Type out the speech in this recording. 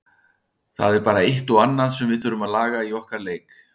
Það er bara eitt og annað sem við þurfum að laga í okkar leik.